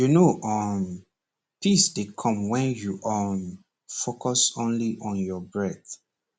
you know um peace dey come when you um focus only on your breath